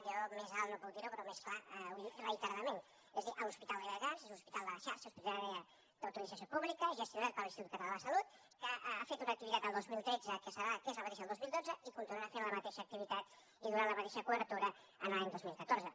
jo més alt no puc dir ho però més clar ho he dit reiteradament és a dir l’hospital de viladecans és un hospital de la xarxa hospitalària d’utilització pública gestionat per l’institut català de la salut que ha fet una activitat el dos mil tretze que és la mateixa del dos mil dotze i continuarà fent la mateixa activitat i donant la mateixa cobertura l’any dos mil catorze